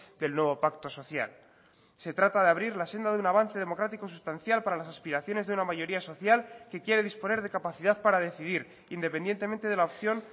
del nuevo pacto social se trata de abrir la senda de un avance democrático sustancial para las aspiraciones de una mayoría social que quiere disponer de capacidad para decidir independientemente de la opción